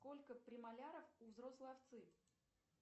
сколько премоляров у взрослой овцы